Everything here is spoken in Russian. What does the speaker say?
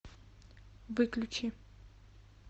выключи